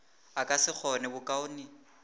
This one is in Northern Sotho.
a ka se kgone bokaone